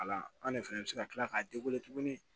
Ala an de fɛnɛ bi se ka kila k'a tuguni